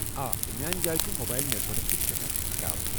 آ، تہٕ میانہ جایہ چھٗ موبایل نیٹ ؤرک تہِ سیٹھاہ خراب۔